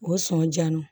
O sɔn diya n na